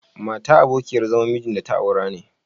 Matar abokiyar zaman mijin da ta aura..